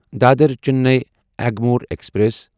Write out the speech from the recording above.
Dadar Chennai Egmore express